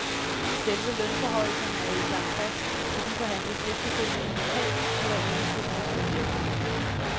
Selve lønforhøjelserne er ikke lagt fast, for de forhandles efterfølgende lokalt på hver eneste industrivirksomhed.